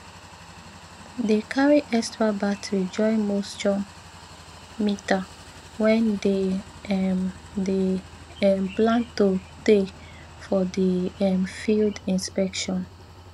dey carry extra battery join moisture meter wen dey um dey um plan to tey for di um field inspectio